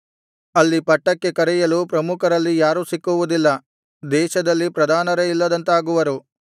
ಅಲ್ಲಿ ಪಟ್ಟಕ್ಕೆ ಕರೆಯಲು ಪ್ರಮುಖರಲ್ಲಿ ಯಾರೂ ಸಿಕ್ಕುವುದಿಲ್ಲ ದೇಶದಲ್ಲಿ ಪ್ರಧಾನರೇ ಇಲ್ಲದಂತಾಗುವರು